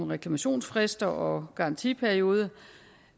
reklamationsfrist og garantiperiode